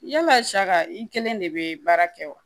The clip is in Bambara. Yala saga i kelen de be baara kɛ wa